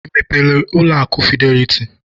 Ị mepere ụlọ akụ fideliti?